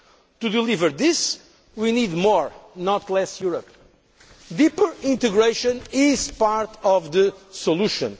To deliver this, we need more, not less, Europe. Deeper integration is part of the